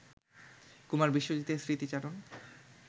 কুমার বিশ্বজিতের স্মৃতিচারণ